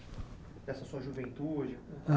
Dessa sua juventude.